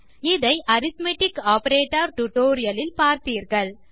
இதை arithmetic operator tutorial இல் பார்த்தீர்கள்